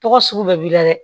Tɔgɔ sugu bɛɛ b'i la dɛ